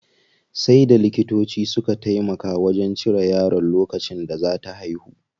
Sai da likitoci suka taimaka wajen cire yaron lokacin da zaa ta haihu.